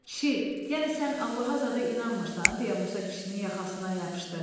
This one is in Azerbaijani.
Kişi, yəni sən Allaha zada inanmırsan deyə Musa kişinin yaxasından yapışdı.